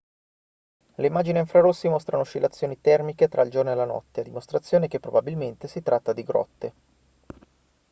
le immagini a infrarossi mostrano oscillazioni termiche tra il giorno e la notte a dimostrazione che probabilmente si tratta di grotte